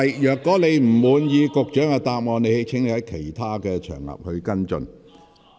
如果你不滿意局長的答覆，請在其他場合跟進。